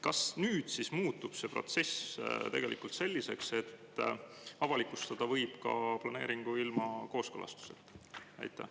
Kas nüüd siis muutub see protsess tegelikult selliseks, et avalikustada võib ka planeeringu ilma kooskõlastuseta?